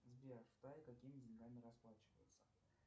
сбер в тае какими деньгами расплачиваются